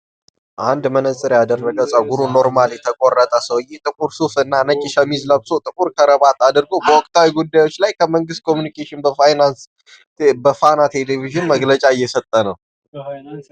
አንድ መነጸር ያደረገ ፀጉሩን ኖርማል የተቆረጠ ሰውየ ጥቁር ሱፍ እና ነጭ ሸሚዝ ለብሶ ጥቁር ከረባት አድርጐ በወቅታዊ ጉዳዮች ላይ ከመንግስት ኮሙኒኬሽን በፋና ቴሌቪዥን መግለጫ እየሰጠ ነው።